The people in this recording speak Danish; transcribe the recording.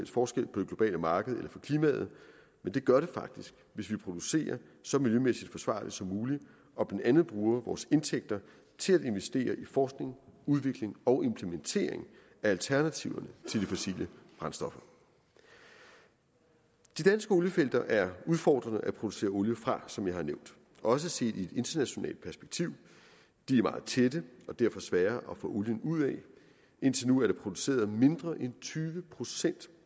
forskel på det globale marked eller for klimaet men det gør det faktisk hvis vi producerer så miljømæssig forsvarligt som muligt og blandt andet bruger vores indtægter til at investere i forskning udvikling og implementering af alternativerne til de fossile brændstoffer de danske oliefelter er udfordrende at producere olie fra som jeg har nævnt også set i et internationalt perspektiv de er meget tætte og derfor svære at få olien ud af og indtil nu er produceret mindre end tyve procent